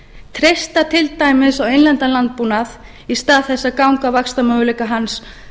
treysta til dæmis á innlendan landbúnað í stað þess að ganga á vaxtarmöguleika hans